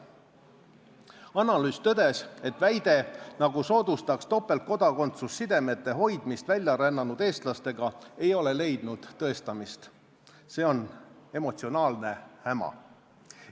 Analüüsis tõdeti, et väide, nagu soodustaks topeltkodakondsus sidemete hoidmist väljarännanud eestlastega, ei ole leidnud tõendamist, see on emotsionaalne häma.